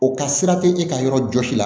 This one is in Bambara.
O ka sira te e ka yɔrɔ jɔsi la